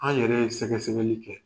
An yɛrɛ sɛgɛsɛgɛli kɛ.